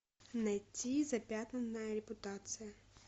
найти запятнанная репутация